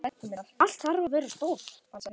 Allt þarf að vera stórt.